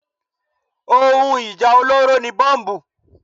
Ohun ìjà olóró ni Bọ́mbù.